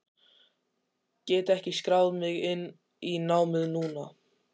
Get ég skráð mig inn í námið núna?